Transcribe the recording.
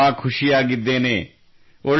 ನಾನು ತುಂಬ ಖುಷಿಯಾಗಿದ್ದೇನೆ